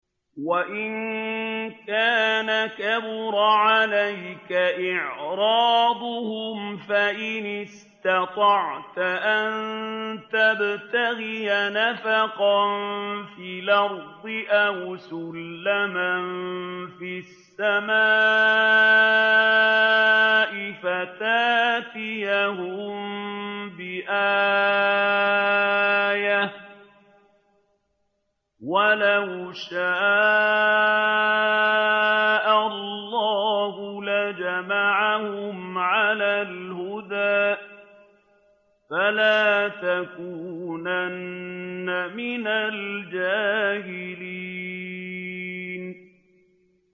وَإِن كَانَ كَبُرَ عَلَيْكَ إِعْرَاضُهُمْ فَإِنِ اسْتَطَعْتَ أَن تَبْتَغِيَ نَفَقًا فِي الْأَرْضِ أَوْ سُلَّمًا فِي السَّمَاءِ فَتَأْتِيَهُم بِآيَةٍ ۚ وَلَوْ شَاءَ اللَّهُ لَجَمَعَهُمْ عَلَى الْهُدَىٰ ۚ فَلَا تَكُونَنَّ مِنَ الْجَاهِلِينَ